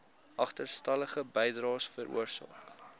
agterstallige bydraes veroorsaak